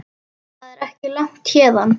Það er ekki langt héðan.